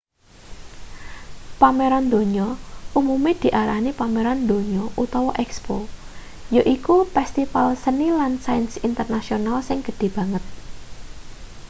pameran donya umume diarani pameran donya utawa expo yaiku pestipal seni lan sains internasional sing gedhe banget